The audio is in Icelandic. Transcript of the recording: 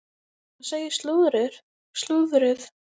Hvað segir slúðrið?